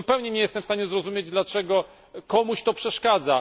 Zupełnie nie jestem w stanie zrozumieć, dlaczego to komuś przeszkadza.